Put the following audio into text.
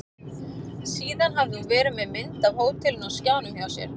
Síðan hafði hún verið með mynd af hótelinu á skjánum hjá sér.